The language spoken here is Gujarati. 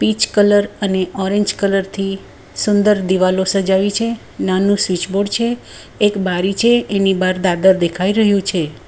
પીચ કલર અને ઓરેન્જ કલર થી સુંદર દીવાલો સજાવી છે નાનું સ્વિચ બોર્ડ છે એક બારી છે એની બાર દાદર દેખાય રહ્યું છે.